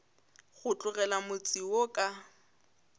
go tlogela motse wo ka